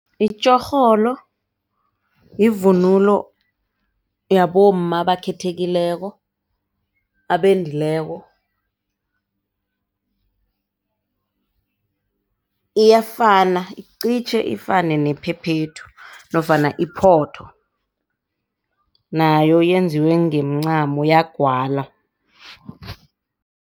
Itjorholo yivunulo yabomma abakhethekileko, abendileko iyafana iqitjhe ifane nephephethu nofana iphotho nayo yenziwe ngemincamo yagwalwa.